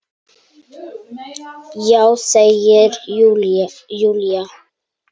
Já, segir Júlía.